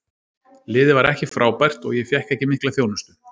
Liðið var ekki frábært og ég fékk ekki mikla þjónustu.